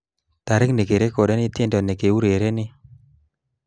Tarik nekirekodeni tiendo nekiurereni